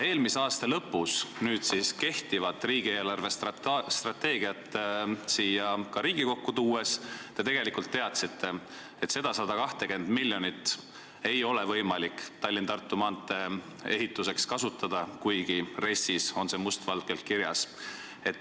Eelmise aasta lõpus praegu kehtivat riigi eelarvestrateegiat siia Riigikokku tuues te tegelikult teadsite, et seda 120 miljonit ei ole võimalik Tallinna–Tartu maantee ehituseks kasutada, kuigi RES-is on see must valgel kirjas.